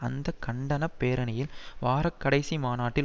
அந்த கண்டன பேரணியில் வார கடைசி மாநாட்டில்